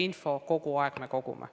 Mis saab ülikooli sisseastumisest?